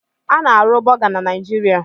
A na-arụ Bọga na Niijiria.